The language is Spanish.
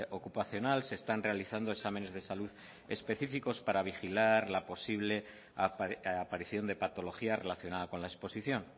ocupacional se están realizando exámenes de salud específicos para vigilar la posible aparición de patología relacionada con la exposición